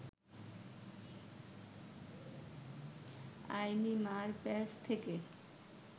আইনি মারপ্যাঁচ থেকে